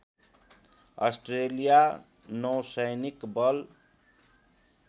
Australia नौसैनिक बल